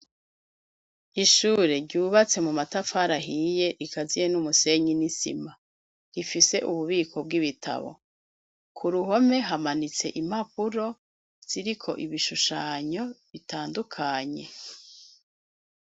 Ishure ryubatse mu matafari ahiye rikaziye n'umusenyi n'isima rifise ububiko bw'ibitabo ku ruhome hamanitse impapuro ziriko ibishushanyo bitandukanye.